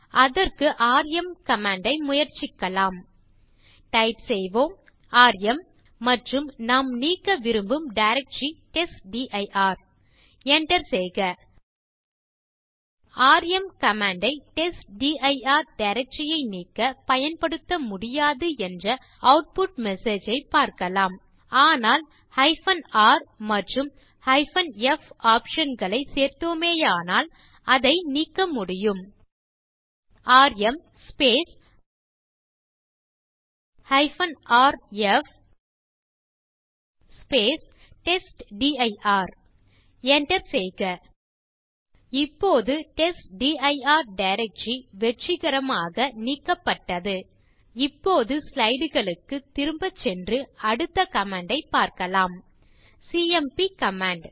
அதற்கு ராம் கமாண்ட் ஐ முயற்சிக்கலாம் டைப் செய்வோம் ராம் மற்றும் நாம் நீக்க விரும்பும் டைரக்டரி டெஸ்ட்டிர் enter செய்க ராம் கமாண்ட் ஐ டெஸ்ட்டிர் டைரக்டரி ஐ நீக்க பயன்படுத்த முடியாது என்ற ஆட்புட் மெசேஜ் ஐ பார்க்கலாம் ஆனால் r மற்றும் f ஆப்ஷன் களை சேர்த்தோமேயானால் அதை நீக்க முடியும் ராம் rf டெஸ்ட்டிர் enter செய்க இப்போது டெஸ்ட்டிர் டைரக்டரி வெற்றிகரமாக நீக்கப்பட்டது இப்போது ஸ்லைடு களுக்குத் திரும்பச் சென்று அடுத்த கமாண்ட் ஐப் பார்க்கலாம் சிஎம்பி கமாண்ட்